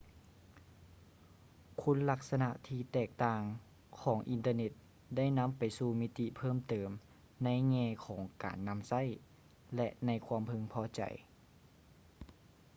ຄຸນລັກສະນະທີ່ແຕກຕ່າງຂອງອິນເຕີເນັດໄດ້ນຳໄປສູ່ມິຕິເພີ່ມເຕີມໃນແງ່ຂອງການນຳໃຊ້ ແລະ ໃນຄວາມເພິ່ງພໍໃຈ